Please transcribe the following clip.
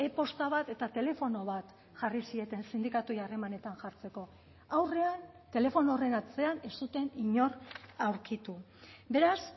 posta bat eta telefono bat jarri zieten sindikatuei harremanetan jartzeko aurrean telefono horren atzean ez zuten inor aurkitu beraz